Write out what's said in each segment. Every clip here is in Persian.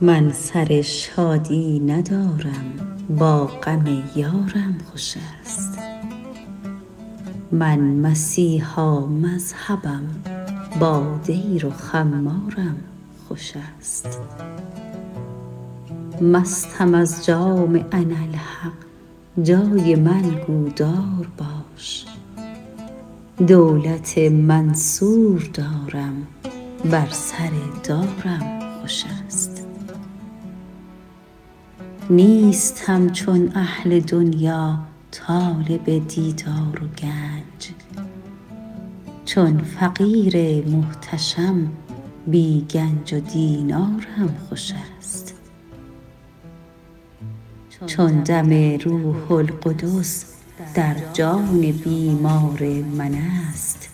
من سر شادی ندارم با غم یارم خوش است من مسیحا مذهبم با دیر و خمارم خوش است مستم از جام اناالحق جای من گو دار باش دولت منصور دارم بر سر دارم خوش است نیستم چون اهل دنیا طالب دیدار و گنج چون فقیر محتشم بی گنج و دینارم خوش است چون دم روح القدس در جان بیمار من است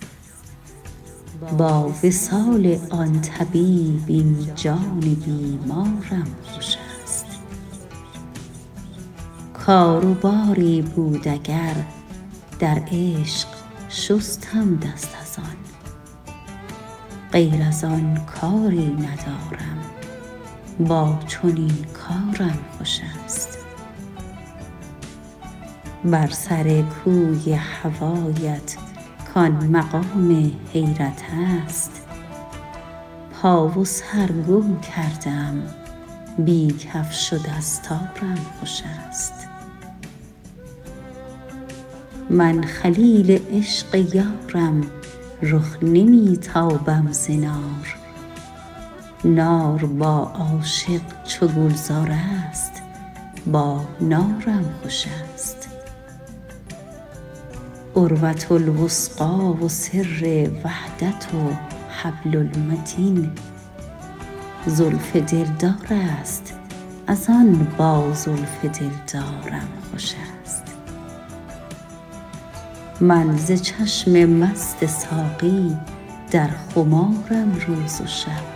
با وصال آن طبیب این جان بیمارم خوش است کار و باری بود اگر در عشق شستم دست از آن غیر از آن کاری ندارم با چنین کارم خوش است بر سر کوی هوایت کان مقام حیرت است پا و سر گم کرده ام بی کفش و دستارم خوش است من خلیل عشق یارم رخ نمی تابم ز نار نار با عاشق چو گلزار است با نارم خوش است عروة الوثقی و سر وحدت و حبل المتین زلف دلدار است از آن با زلف دلدارم خوش است من ز چشم مست ساقی در خمارم روز و شب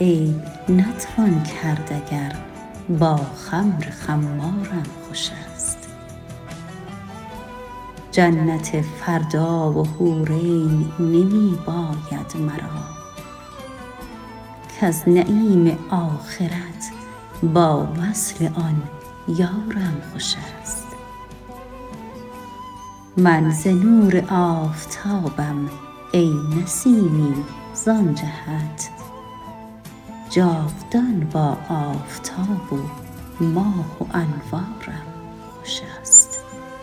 عیب نتوان کرد اگر با خمر خمارم خوش است جنت فردا و حور عین نمی باید مرا کز نعیم آخرت با وصل آن یارم خوش است من ز نور آفتابم ای نسیمی زان جهت جاودان با آفتاب و ماه و انوارم خوش است